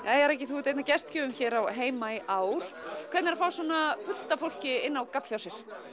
jæja Raggi þú ert einn af gestgjöfum hér á heima í ár hvernig er að fá svona fullt af fólki inn á gafl hjá sér